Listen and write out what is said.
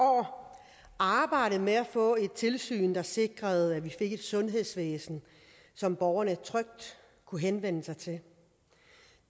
år arbejdet med at få et tilsyn der sikrede at vi fik et sundhedsvæsen som borgerne trygt kunne henvende sig til